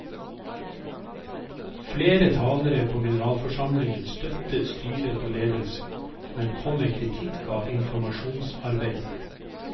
Flere talere på generalforsamlingen støttet styret og ledelsen, men kom med kritikk av informasjonsarbeidet.